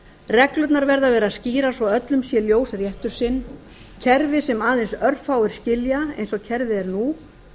reglurnar verða að vera skýrar svo að öllum sé ljós réttur sinn kerfi sem aðeins örfáir skilja eins og kerfið er nú